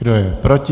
Kdo je proti?